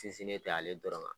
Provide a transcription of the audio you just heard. Sinsinen tɛ ale dɔrɔn kan